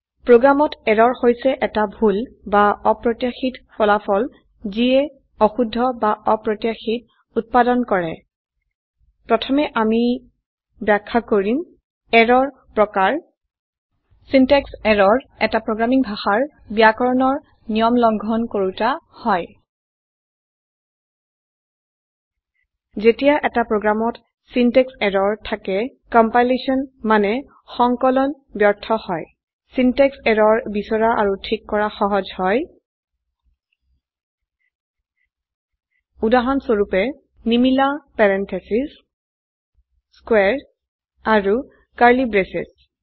program ত error হৈছে এটা ভুল বা অপ্ৰত্যাশিত ফলাফল যিয়ে অশুদ্ধ বা অপ্ৰত্যাশিত উত্পাদন কৰে প্ৰথমে আমি ব্যাখ্যা কৰিম এৰৰ প্ৰকাৰ সিনট্যাক্স এৰৰ এটা প্ৰোগ্ৰামিং ভাষাৰ ব্যাকৰণৰ নিয়ম লঙ্ঘন কৰোতা হয় যেতিয়া এটা প্ৰোগ্ৰামত সিনট্যাক্স এৰৰ থাকে কম্পাইলেশ্যন মানে সংকলন ব্যৰ্থ হয় সিনট্যাক্স এৰৰ বিছৰা আৰু ঠিক কৰা সহজ হয় উদাহৰণস্বৰুপে160 নিমিলা পেৰেণ্ঠেছেছ স্কোৱাৰে এণ্ড কাৰ্লি ব্ৰেচেছ